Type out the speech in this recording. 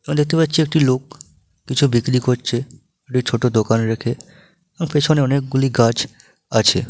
দেখতে পাচ্ছি একটি লোক কিছু বিক্রি করছে ছোট দোকানে রেখে পেছনে অনেকগুলি গাছ আছে।